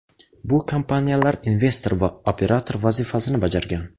Bu kompaniyalar investor va operator vazifasini bajargan.